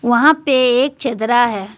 वहां पे एक चदरा है।